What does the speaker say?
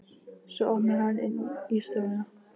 Svo opnar hann inn í stofuna.